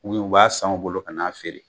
U yu u b'a san u bolo ka na feere